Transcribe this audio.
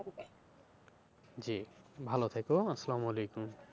জি ভালো থেকো, আসসালাম ওয়ালেখুম।